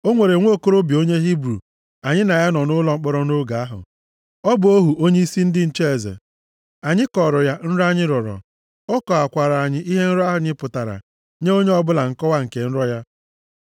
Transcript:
O nwere nwokorobịa onye Hibru anyị na ya nọ nʼụlọ mkpọrọ nʼoge ahụ. Ọ bụ ohu onyeisi ndị nche eze. Anyị kọọrọ ya nrọ anyị rọrọ. Ọ kọwakwaara anyị ihe nrọ anyị pụtara nye onye ọbụla nkọwa nke nrọ ya.